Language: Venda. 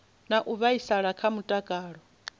na u vhaisala kha mutakalo